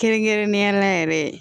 Kɛrɛnkɛrɛnnenya la yɛrɛ